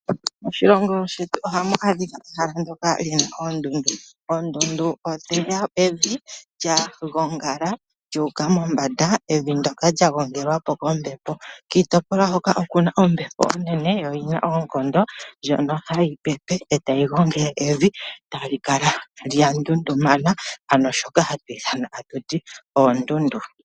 Moshilongo shetu oha mu adhika ehala ndoka haku adhika oondundu. Oondundu odhina evi lya gongala lyu uka mombanda evi ndoka lya gongelwa kombepo .kiitopolwa hoka okuna ombepo onene yo oyina oonkondo ndjono hayi pepe ta yi gongele evi e ta li kala lya ntuntumana shoka hatu ithana tatuti oondundu.